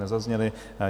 Nezazněly.